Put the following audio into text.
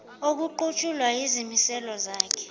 okuqutshulwa yizimiselo zale